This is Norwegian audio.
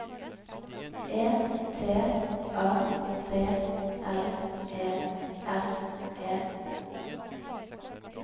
E T A B L E R E